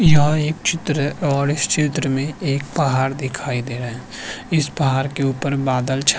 यह एक चित्र है और इस चित्र में एक पहाड़ दिखाई दे रहा है इस पहाड़ के ऊपर बादल छा --